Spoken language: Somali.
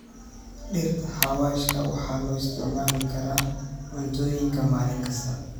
Dhirta xawaashka waxaa loo isticmaali karaa cuntooyinka maalin kasta.